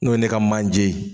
N'o ye ne ka manje ye